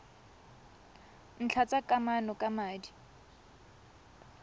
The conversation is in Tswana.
ntlha tsa kamano ka madi